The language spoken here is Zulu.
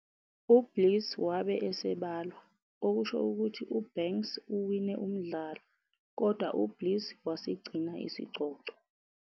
U-Bliss wabe esebalwa, okusho ukuthi uBanks uwine umdlalo, kodwa uBliss wasigcina isicoco.